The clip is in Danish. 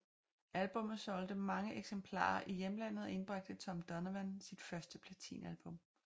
Albummet solgte mange eksemplarer i hjemlandet og indbragte Tom Donovan sit første platinalbum